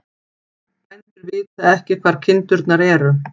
Bændur vita ekki hvar kindurnar eru